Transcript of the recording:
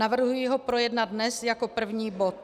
Navrhuji ho projednat dnes jako první bod.